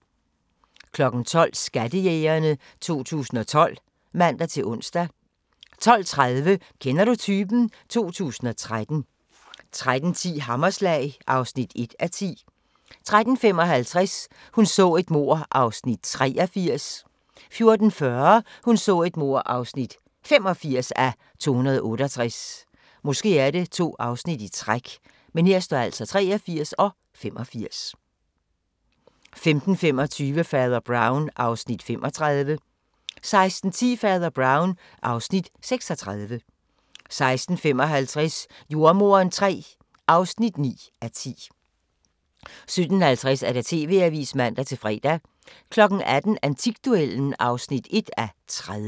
12:00: Skattejægerne 2012 (man-ons) 12:30: Kender du typen? 2013 13:10: Hammerslag (1:10) 13:55: Hun så et mord (83:268) 14:40: Hun så et mord (85:268) 15:25: Fader Brown (Afs. 35) 16:10: Fader Brown (Afs. 36) 16:55: Jordemoderen III (9:10) 17:50: TV-avisen (man-fre) 18:00: Antikduellen (1:30)